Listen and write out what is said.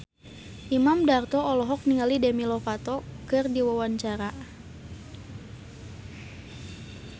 Imam Darto olohok ningali Demi Lovato keur diwawancara